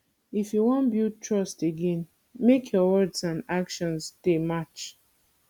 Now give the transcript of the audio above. if you wan build trust again make your words and actions dey match